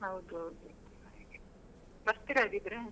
ಹೌದೌದು ಬರ್ತೀರಾ ಹಾಗಿದ್ರೆ?